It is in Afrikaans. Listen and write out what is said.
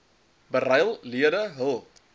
beryl lede hul